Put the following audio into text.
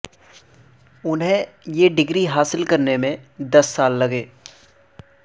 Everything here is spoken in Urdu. انھیں یہ ڈگری حاصل کرنے میں دس سال لگے